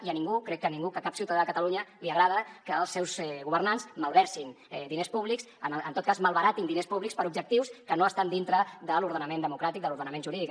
i a ningú crec que a ningú que a cap ciutadà de catalunya li agrada que els seus governants malversin diners públics en tot cas malbaratin diners públics per a objectius que no estan dintre de l’ordenament democràtic de l’ordenament jurídic